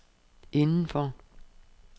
indenfor